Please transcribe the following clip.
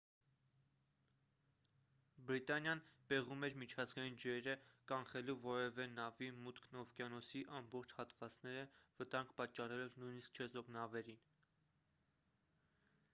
բրիտանիան պեղում էր միջազգային ջրերը կանխելու որևէ նավի մուտքն օվկիանոսի ամբողջ հատվածները վտանգ պատճառելով նույնիսկ չեզոք նավերին